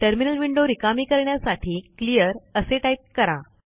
terminal window रिकामी करण्यासाठी clear असे टाईप करा